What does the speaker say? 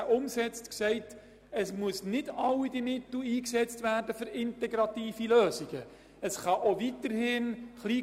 Wir legten fest, dass nicht alle Mittel für integrative Lösungen eingesetzt werden müssen.